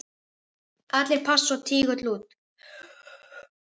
Allir pass og tígull út!